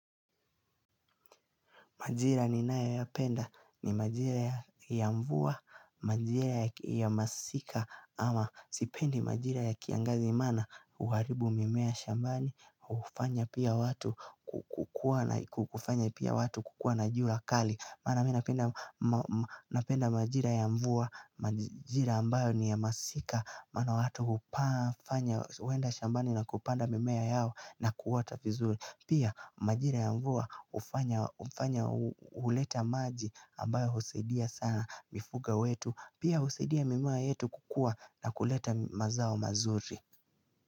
Majira ninayo yapenda, ni majira ya mvua, majira ya masika, ama sipendi majira ya kiangazi maana, huharibu mimea shambani, hufanya pia watu, ku hufanya pia watu, kukua na jua kali. Maana mimi napenda majira ya mvua, majira ambayo ni ya masika Maana watu hupaa, fanya huenda shambani na kupanda mimea yao na kuwa ta vizuri. Pia majira ya mvua hufanya, huleta maji ambayo husaidia sana mifugo wetu. Pia husaidia mimea yetu kukua na kuleta mazao mazuri.